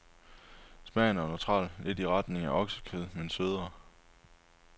Smagen er neutral, lidt i retning af oksekød, men sødere.